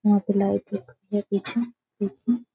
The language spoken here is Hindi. यहाँ पे लाइट है यह पीछे पीछे --